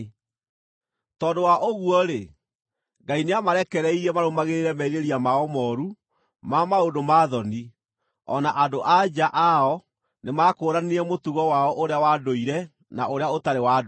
Tondũ wa ũguo-rĩ, Ngai nĩamarekereirie marũmagĩrĩre merirĩria mao mooru ma maũndũ ma thoni. O na andũ-a-nja ao nĩmakũũranirie mũtugo wao ũrĩa wa ndũire na ũrĩa ũtarĩ wa ndũire.